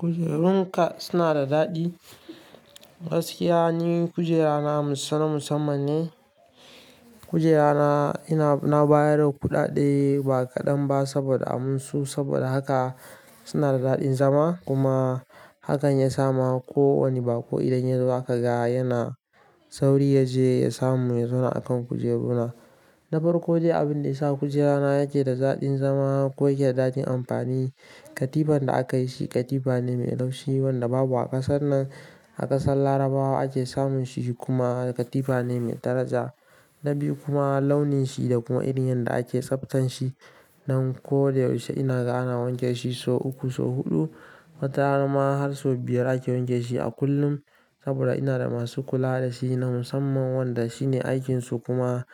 Kujerun ka suna da daɗi? Gaskiya ni kujera na na musamman ne. Kujera na, ina bayar da kuɗaɗe ba kaɗan ba saboda amin su, saboda haka suna da daɗin zama. Kuma hakan ya sa ma ko wane baƙo idan ya zo zaka ga yana sauri ya je ya samu ya zauna a kan kujeru na. Na farko dai, abin da ya sa kujera na yake da daɗin zama ko yake da daɗin amfani, katifar da aka yi shi katifa ne mai laushi wanda babu a kasar nan. A ƙasar Larabawa ake samun shi kuma katifa ne mai daraja. Na biyu kuma launin shi da kuma irin yanda ake tsaftan shi. Nan ko da yaushe ina ga ana wanke shi so uku, so huɗu. Wata rana ma har so biyar ake wanke shi a kullum saboda ina da masu kula da shi na musamman wanda shi ne aikin su kuma